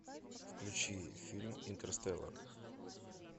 включи фильм интерстеллар